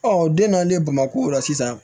den nalen bamako la sisan